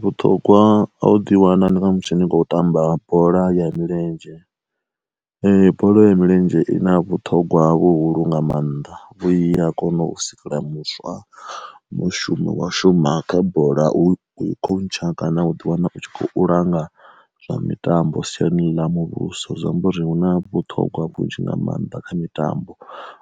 Vhuṱhogwa a u ḓi wana ndi na musi ni kho tamba bola ya milenzhe, bola ya milenzhe i na vhuṱhogwa vhuhulu nga maanḓa vhu iya kona u sikela muswa mushumo wa shuma kha bola u khontsha kana u ḓi wana u tshi kho u langa zwa mitambo siani ḽa muvhuso zwi amba uri huna vhuṱhogwa vhunzhi nga maanḓa kha mitambo,